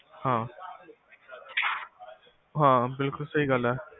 ਹਾਂ ਹਾਂ ਬਿਲਕੁਲ ਸਹੀ ਗੱਲ ਐ